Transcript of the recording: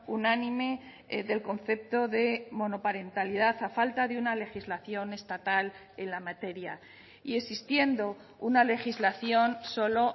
unánime del concepto de monoparentalidad a falta de una legislación estatal en la materia y existiendo una legislación solo